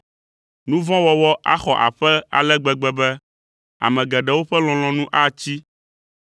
Nu vɔ̃ wɔwɔ axɔ aƒe ale gbegbe be, ame geɖewo ƒe lɔlɔ̃nu atsi.